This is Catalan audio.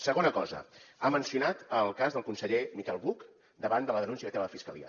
segona cosa ha mencionat el cas del conseller miquel buch davant de la denúncia que té de la fiscalia